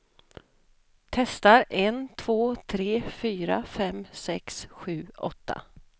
Testar en två tre fyra fem sex sju åtta.